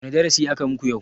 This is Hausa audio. Wane darasi aka muku yau?